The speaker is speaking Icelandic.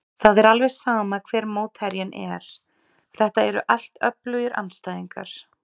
Það er alveg sama hver mótherjinn er, þetta eru allt öflugir andstæðingar.